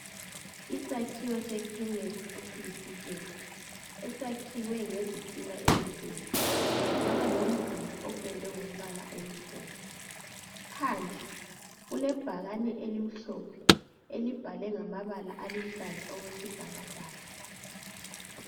Isakhiwo sekhemisi esiyisitezi, esakhiwe ngezitina ezibomvu, saba lomduli opendwe ngombala omhlophe. Phandle kulebhakane elimhlophe elibhalwe ngamabala aluhlaza okwesibhakabhaka.